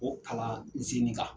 O kalan zini kan.